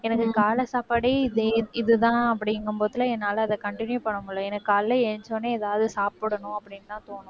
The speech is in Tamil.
எனக்கு காலை சாப்பாடே இதே~ இதுதான் அப்படிங்கும்போது என்னால அதை continue பண்ண முடியலை ஏன்னா காலையில எழுந்திரிச்ச உடனே எதாவது சாப்பிடணும் அப்படின்னுதான் தோணும்